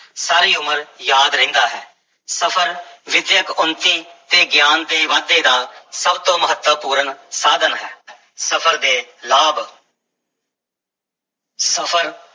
ਸਾਰੀ ਉਮਰ ਯਾਦ ਰਹਿੰਦਾ ਹੈ, ਸਫ਼ਰ ਵਿੱਦਿਅਕ ਉੱਨਤੀ ਤੇ ਗਿਆਨ ਦੇ ਵਾਧੇ ਦਾ ਸਭ ਤੋਂ ਮਹੱਤਵਪੂਰਨ ਸਾਧਨ ਹੈ ਸਫ਼ਰ ਦੇ ਲਾਭ ਸਫ਼ਰ